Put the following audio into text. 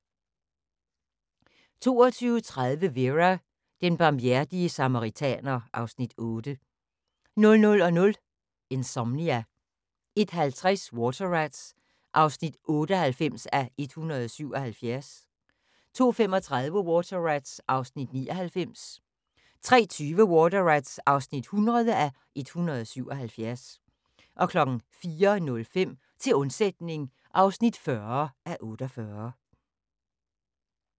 22:30: Vera: Den barmhjertige samaritaner (Afs. 8) 00:00: Insomnia 01:50: Water Rats (98:177) 02:35: Water Rats (99:177) 03:20: Water Rats (100:177) 04:05: Til undsætning (40:48)